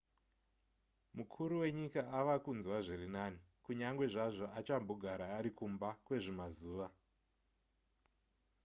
mukuru wenyika ava kunzwa zviri nani kunyange zvazvo achambogara ari kumba kwezvimazuva